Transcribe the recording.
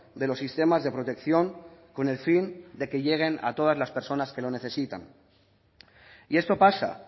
de los sistemas de protección con el fin de que lleguen a todas las personas que lo necesitan y esto pasa